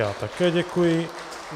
Já také děkuji.